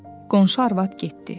Qonşu arvad getdi.